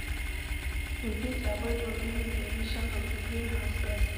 We fit avoid or limit the emission of green house gases